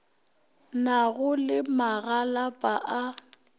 na go le magalapa a